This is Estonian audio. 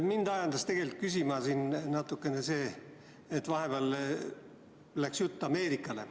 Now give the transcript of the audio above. Mind ajendas küsima natukene see, et vahepeal läks jutt Ameerikale.